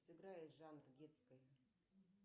сыграй жанр детской